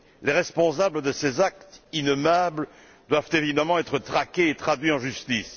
Les responsables de ces actes innommables doivent évidemment être traqués et traduits en justice.